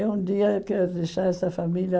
E um dia eu quero deixar essa família